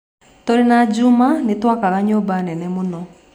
Tũrĩ na Juma nĩ twakaga nyũmba nene mũno.